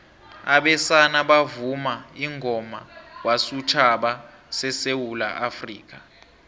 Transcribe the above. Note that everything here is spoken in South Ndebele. abesana bavuma ingoma wesutjhaba sesewula afrikha